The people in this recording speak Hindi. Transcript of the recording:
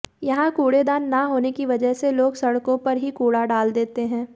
यहां कूड़ेदान न होने की वजह से लोग सड़कों पर ही कूड़ा डाल देते हैं